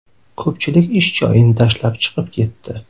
Ko‘pchilik ish joyini tashlab chiqib ketdi.